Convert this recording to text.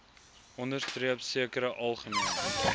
onderstreep sekere algemene